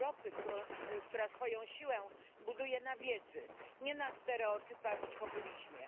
Europy, która swoją siłę buduje na wiedzy, nie na stereotypach i populizmie.